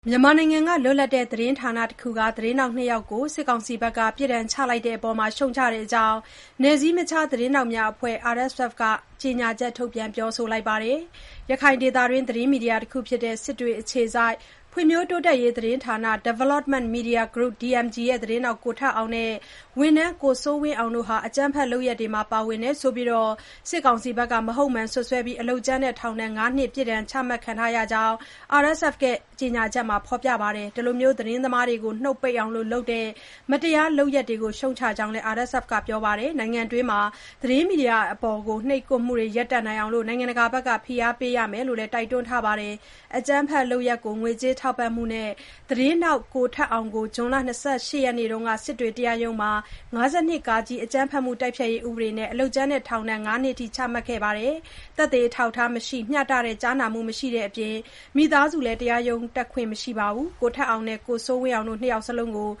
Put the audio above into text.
မြန်မာနိုင်ငံက လွတ်လပ်တဲ့ သတင်းဌာနတခုက သတင်းထောက် ၂ ယောက်ကို စစ်ကောင်စီက အပြစ်ဒဏ်ချလိုက်တဲ့အပေါ်မှာ ရှုတ်ချကြောင်း နယ်စည်းမခြား သတင်းထောက်များအဖွဲ့ RSF က ကြေညာချက်ထုတ်ပြန်ပြောဆိုလိုက်ပါတယ်။ ရခိုင်ဒေသတွင်း သတင်းမီဒီယာ တခုဖြစ်တဲ့ စစ်တွေအခြေစိုက် ဖွံ့ဖြိုးတိုးတက်ရေးသတင်းဌာန Development Media Group (DMG) ရဲ့ သတင်းထောက် ကိုထက်အောင်နဲ့ ဝန်ထမ်း ကိုစိုးဝင်းအောင်ဟာ အကြမ်းဖက်လုပ်ရပ်တွေမှာ ပါဝင်တယ်လို့ မဟုတ်မှန် စွပ်စွဲပြီး အလုပ်ကြမ်းနဲ့ ထောင်ဒဏ် ၅ နှစ် ပြစ်ဒဏ်ပေးချမှတ်ခံထားရကြောင်း RSF ရဲ့ ကြေညာချက်မှာ ဖော်ပြထားပါတယ်။ သတင်းသမားတွေကို နှုတ်ပိတ်အောင် လုပ်တဲ့ ဒီလို မတရားလုပ်ရပ်တွေကို ရှုတ်ချကြောင်း RSF က ပြောပါတယ်။ မြန်မာနိုင်ငံတွင်း သတင်းမီဒီယာအပေါ် နှိပ်ကွပ်မှုတွေ ရပ်အောင် နိုင်ငံတကာက ပိုဖိအားပေးရမယ်လို့လည်း တိုက်တွန်းထားပါတယ်။ အကြမ်းဖက်လုပ်ရပ်ကို ငွေကြေးထောက်ပံ့မှုနဲ့ သတင်းထောက် ကိုထက်အောင်ကို ဇွန်လ ၂၈ ရက်နေ့တုန်းက စစ်တွေတရားရုံးမှာ ၅၂(က) အကြမ်းဖက်မှု တိုက်ဖျက်ရေးဥပဒေနဲ့ အလုပ်ကြမ်းနဲ့ ထောင်ဒဏ် ၅ နှစ်ထိ ချမှတ်လိုက်ကြောင်းလညး ဖော်ပြထားပါတယ်။ သက်သေအထောက်အထား မရှိ၊ မျှတတဲ့ ကြားနာမှုလည်း မရှိတဲ့အပြင် ကိုထက်အောင်ရဲ့ မိသားစုလည်း တရားရုံးတက်ခွင့် မရှိခဲ့ကြောင်းလည်း ဖော်ပြထားပါတယ်။ ကိုထက်အောင်နဲ့ ကိုစိုးဝင်းအောင်တို့ ၂ ယောက်လုံးကို